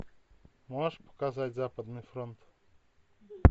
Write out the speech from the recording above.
можешь показать западный фронт